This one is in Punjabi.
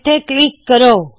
ਇੱਥੇ ਕਲਿੱਕ ਕਰੋ